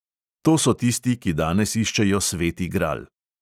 To so tisti, ki danes iščejo sveti gral.